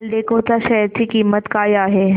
एल्डेको च्या शेअर ची किंमत काय आहे